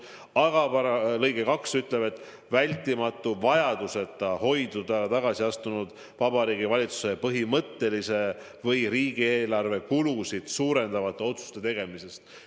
Aga selle paragrahvi lõige 2 ütleb, et vältimatu vajaduseta hoidub tagasiastunud Vabariigi Valitsus põhimõtteliste või riigieelarve kulusid suurendavate otsuste tegemisest.